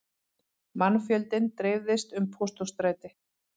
Mannfjöldinn dreifðist um Pósthússtræti